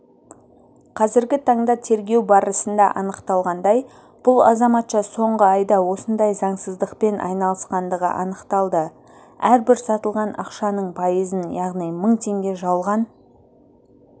қазіргі таңда тергеу барысында анықталғандай бұл азаматша соңғы айда осындай заңсыздықпен айналысқандығы анықталды әрбір сатылған ақшаның пайызын яғни мың теңге жалған